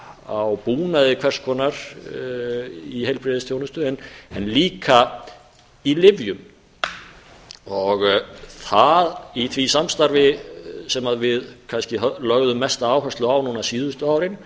á búnaði hvers konar í heilbrigðisþjónustu en líka í lyfjum í því samstarfi sem við kannski lögðum mesta áherslu á síðustu árin